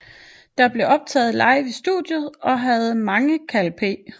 Det blev optaget live i studiet og havde mange Kal P